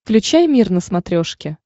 включай мир на смотрешке